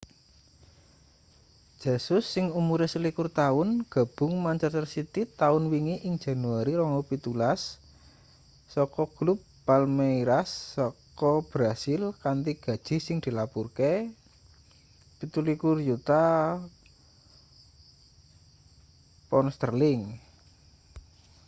jesus sing umure 21 taun gabung manchester city taun wingi ing januari 2017 saka klub palmeiras saka brasil kanthi gaji sing dilapurake £27 yuta